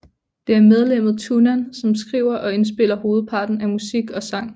Det er medlemmet Tunnan som skriver og indspiller hovedparten af musik og sang